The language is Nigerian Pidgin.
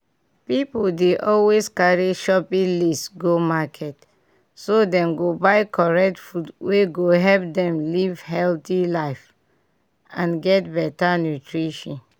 pipiu dey always carry shopping list go market so dem go buy correct food wey go help dem live healthy life and get better nutrition.